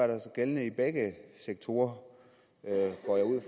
da gældende i begge sektorer